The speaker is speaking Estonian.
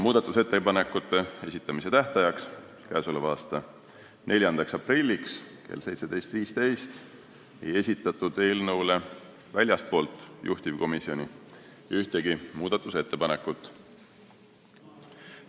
Muudatusettepanekute esitamise tähtajaks, k.a 4. aprilliks kella 17.15-ks ei esitatud eelnõu kohta väljastpoolt juhtivkomisjoni ühtegi muudatusettepanekut.